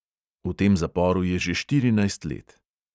V tem zaporu je že štirinajst let.